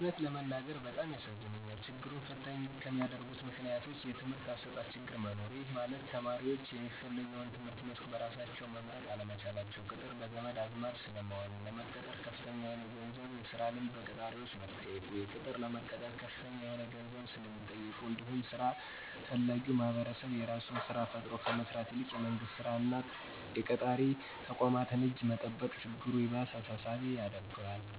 የእውነት ለመናገር በጣም ያሳዝነኛል። ችግሩን ፈተኝ ከሚያደርጉት ምክንያቶች:- የትምህርት አሰጣጥ ችግር መኖር:- ይህ ማለት ተማሪዎች የሚፈልገውን የትምህርት መስክ በራሳቸው መምረጥ አለመቻላቸው፤ ቅጥር በዘመድ አዝማድ ስለሚሆን፤ ለመቀጠር ከፍተኛ የሆነ የስራ ልምድ በቀጣሪዎች መጠየቁ፤ ቅጥር ለመቀጠር ከፍተኛ የሆነ ገንዘብ ስለሚጠየቅበት እንዲሁም ስራ ፈላጊዉ ማህበረሰብ የራሱን ስራ ፈጥሮ ከመስራት ይልቅ የመንግስት እና የቀጣሪ ተቋማትን እጅ መጠበቅ ችግሩ ይባስ አሳሳቢ ያደርገዋል።